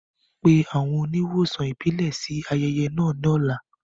Pe àwọn oníwòsàn ìbílẹ̀ sí ayẹyẹ náà lọ́la